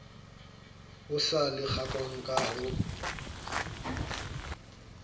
o sa lekanngwang ka ho